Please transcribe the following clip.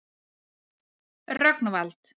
Rögnvald